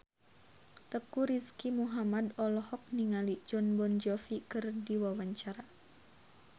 Teuku Rizky Muhammad olohok ningali Jon Bon Jovi keur diwawancara